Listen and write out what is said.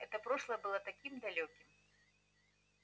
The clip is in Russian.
это прошлое было таким далёким